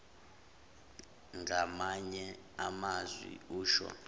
ngamanye amazwi usho